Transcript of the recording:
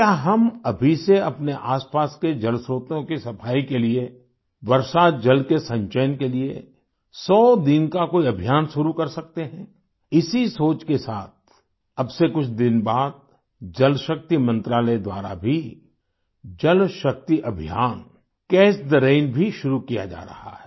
क्या हम अभी से अपने आसपास के जलस्त्रोतों की सफाई के लिये वर्षा जल के संचयन के लिये 100 दिन का कोई अभियान शुरू कर सकते हैं इसी सोच के साथ अब से कुछ दिन बाद जल शक्ति मंत्रालय द्वारा भी जल शक्ति अभियान कैच थे रैन भी शुरू किया जा रहा है